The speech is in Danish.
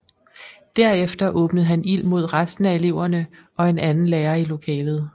Derefter åbnede han ild mod resten af eleverne og en anden lærer i lokalet